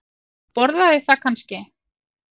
Og borðaði það kannski?